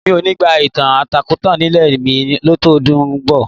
Mi ò ní gba ìtàkùn aláǹtakùn nílé mi látọdún tó ń bọ̀.